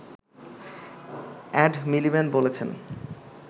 add Miliband বলেছেন